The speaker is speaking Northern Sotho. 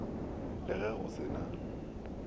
le ge go se na